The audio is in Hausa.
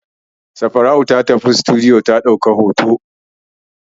Safara'u ta tafi sitiduyo ta ɗauki hoto.